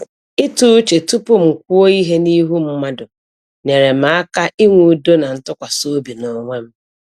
Ịtụ uche tupu m kwuo ihe n’ihu mmadụ nyere m aka inwe udo na ntụkwasị obi n’onwe m.